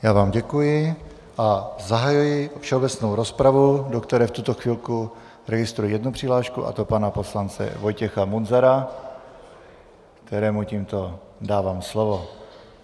Já vám děkuji a zahajuji všeobecnou rozpravu, do které v tuto chvilku registruji jednu přihlášku, a to pana poslance Vojtěcha Munzara, kterému tímto dávám slovo.